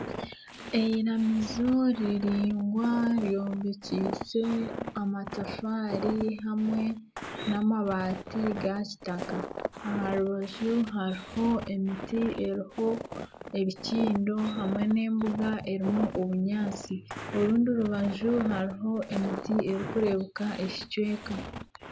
Eiramizo riringwa eryombekyise amatafaari hamwe n'amabaati ga kitaka aha rubaju hariho emiti eriho ebikindo hamwe nana embuga erimu obunyaatsi orundi orubaju hariho emiti erikureebeka ekicweka